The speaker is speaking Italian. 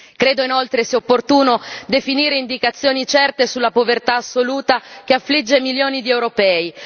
Credo, inoltre, sia opportuno definire indicazioni certe sulla povertà assoluta che affligge milioni di europei.